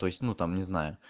то есть ну там не знаю